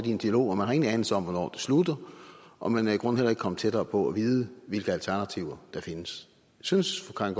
i en dialog og man har ingen anelse om hvornår den slutter og man er i grunden heller ikke kommet tættere på at vide hvilke alternativer der findes synes fru karin